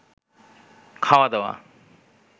খাওয়া-দাওয়া